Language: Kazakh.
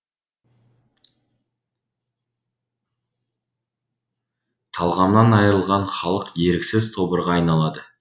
талғамнан айырылған халық еріксіз тобырға айналды